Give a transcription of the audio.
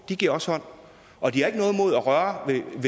de giver også hånd og de har